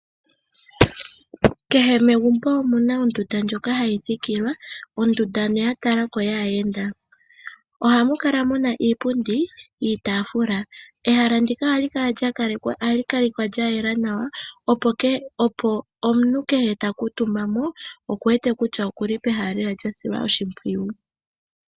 Kehe megumbo omu na ondunda ndjoka hayi thikilwa ya talika ko onga ondunda yaayenda. Ohamu kala mu na iipundi niitaafula. Ehalandika ohali kalekwa lya yela nawa, opo omuntu kehe ta kuutumba mo a kale e wete kutya oku li pehala lya silwa oshimpwiyu.